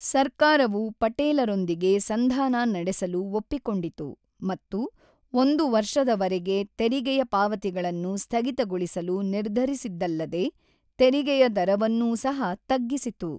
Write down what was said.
ಸರ್ಕಾರವು ಪಟೇಲರೊಂದಿಗೆ ಸಂಧಾನ ನಡೆಸಲು ಒಪ್ಪಿಕೊಂಡಿತು ಮತ್ತು ಒಂದು ವರ್ಷದವರೆಗೆ ತೆರಿಗೆಯ ಪಾವತಿಗಳನ್ನು ಸ್ಥಗಿತಗೊಳಿಸಲು ನಿರ್ಧರಿಸಿದ್ದಲ್ಲದೇ, ತೆರಿಗೆಯ ದರವನ್ನೂ ಸಹ ತಗ್ಗಿಸಿತು.